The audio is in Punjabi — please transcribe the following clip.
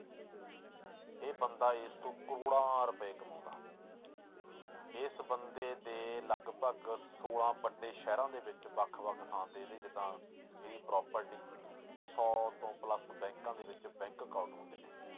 ਇਹ ਬੰਦਾ ਇਸ ਤੋਂ ਕਰੌੜਾਂ ਰੁਪਏ ਕਮਾਉਂਦਾ ਇਸ ਬੰਦੇ ਦੇ ਲੱਗਪਗ ਛੋਲਾਂ ਵੱਡੇ ਸ਼ਹਿਰਾਂ ਦੇ ਵਿੱਚ ਵੱਖ ਵੱਖ ਥਾਂ ਤੇ ਇਹਦੇ ਜਿੱਦਾਂ ਇਹਦੀ property ਸੌ ਤੋਂ plus ਬੈਂਕਾਂ ਦੇ ਵਿੱਚ bank account ਹੁੰਦੇ ਨੇ।